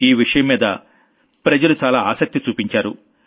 ఈ విషయం మీద జనం చాలా ఆసక్తి చూపించారు